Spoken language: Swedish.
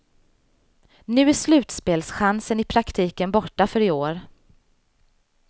Nu är slutspelschansen i praktiken borta för i år.